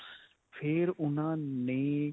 ਫੇਰ ਉਨ੍ਹਾਂ ਨੇ